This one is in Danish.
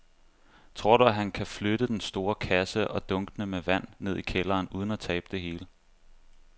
Tror du, at han kan flytte den store kasse og dunkene med vand ned i kælderen uden at tabe det hele?